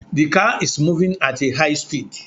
The car is moving at a high speed